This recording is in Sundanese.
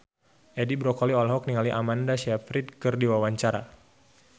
Edi Brokoli olohok ningali Amanda Sayfried keur diwawancara